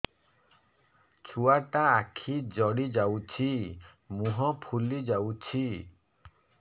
ଛୁଆଟା ଆଖି ଜଡ଼ି ଯାଉଛି ମୁହଁ ଫୁଲି ଯାଉଛି